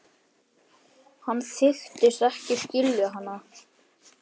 Hann þykist ekki skilja hana.